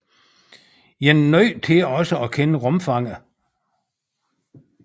Man er nødt til også at kende rumfanget